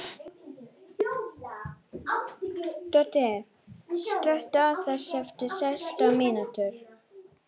Doddi, slökktu á þessu eftir sextán mínútur.